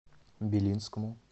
белинскому